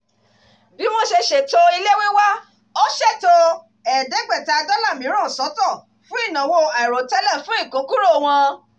"bí wọ́n ṣe ṣètò ilé wíwá ó ṣètò ẹ̀ẹ́dẹ́gbẹ̀ta dollar mìíràn sọ́tọ̀ fún ìnáwó àìròtẹ́lẹ̀ fún ìkókúrò wọn